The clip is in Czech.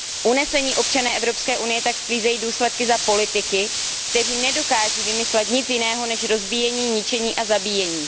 Unesení občané EU tak sklízejí důsledky za politiky, kteří nedokáží vymyslet nic jiného, než je rozbíjení, ničení a zabíjení.